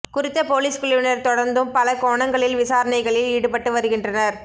குறித்த பொலிஸ் குழுவினர் தொடர்ந்தும் பல கோணங்களில் விசாரணைகளில் ஈடுபட்டு வருகின்றனர்